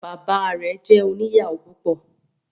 Bàbá rẹ jẹ òní ìyàwó púpọ